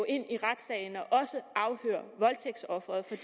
ind i retssagen og også afhøre voldtægtsofferet for